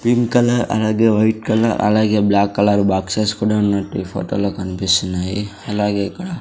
Green colour అలాగే white colour అలాగే black colour boxes కూడా ఉన్నట్టు ఈ ఫొటో లో కనిపిస్తున్నాయి. అలాగే ఇక్కడ --